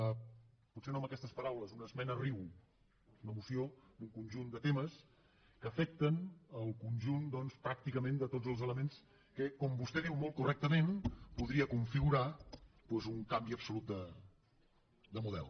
potser no amb aquestes paraules una esmena riu una moció d’un conjunt de temes que afecten el conjunt pràcticament de tots els elements que com vostè diu molt correctament podria configurar doncs un canvi absolut de model